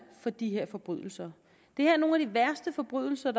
for de her forbrydelser det her er nogle af de værste forbrydelser